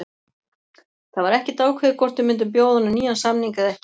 Það var ekkert ákveðið hvort við myndum bjóða honum nýjan samning eða ekki.